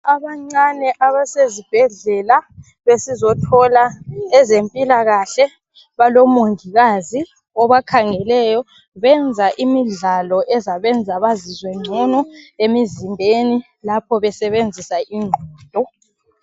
Abancane abasezibhedlela besizothola ezempilakahle, balomongikazi obakhangeleyo benza imidlalo ezabenza bazizwe ngcono lapho besebenzisa ingqondo.